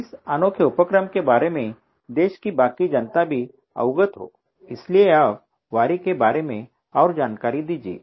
इस अनोखे उपक्रम के बारे में देश की बाकी जनता भी अवगत हो इसलिए आप वारी के बारे और जानकारी दीजिये